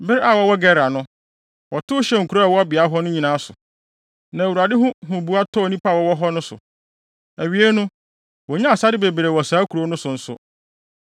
Bere a wɔwɔ Gerar no, wɔtow hyɛɛ nkurow a ɛwɔ beae hɔ nyinaa so, na Awurade ho huboa tɔɔ nnipa a wɔwɔ hɔ no so. Awiei no, wonyaa asade bebree wɔ saa nkurow no so nso.